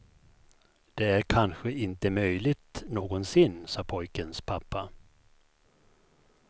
Det är kanske inte möjligt någonsin, sa pojkens pappa.